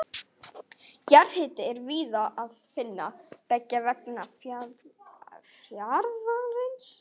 Jarðhita er víða að finna beggja vegna fjarðarins.